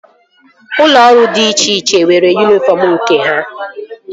Ụlọ ọrụ dị iche iche nwere yunifọm nke ha